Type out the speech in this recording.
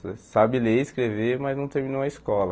Só sabe ler e escrever, mas não terminou a escola.